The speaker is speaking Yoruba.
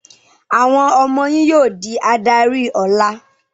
Àwọn ọmọ yín yóò di adarí ọ̀la!